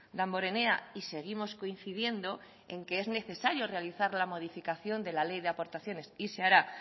damborenea y seguimos coincidiendo en que es necesario realizar la modificación de la ley de aportaciones y se hará